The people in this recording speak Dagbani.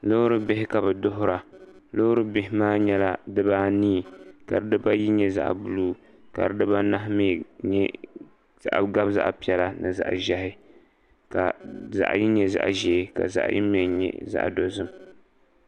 loori bihi ka bi duhura loori bihi maa nyɛla dibaanii ka dibayi nyɛ zaɣ buluu ka dibanahi mii gabi zaɣ piɛla ni zaɣ ʒiɛhi ka zaɣ yini nyɛ zaɣ ʒiɛ ka zaɣ yini mii nyɛ zaɣ dozim